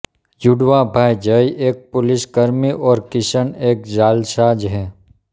जुड़वाँ भाई जय एक पुलिसकर्मी और किशन एक जालसाज़ हैं